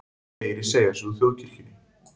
Fleiri segja sig úr þjóðkirkjunni